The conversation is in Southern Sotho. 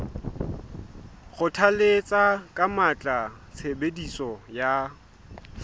kgothalletsa ka matla tshebediso ya